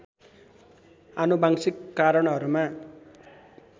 आनुवांशिक कारणहरूमा